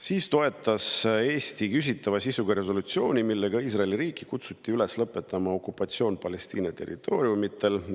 Siis toetas Eesti küsitava sisuga resolutsiooni, millega kutsuti Iisraeli riiki üles lõpetama okupatsioon Palestiina territooriumil.